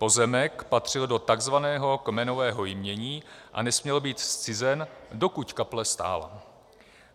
Pozemek patřil do takzvaného kmenového jmění a nesměl být zcizen, dokud kaple stála.